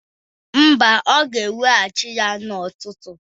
Mba, ọ ga-eweghachi ya n'ụtụtụ